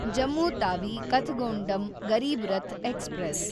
Jammu Tawi Kathgodam Garib Rath express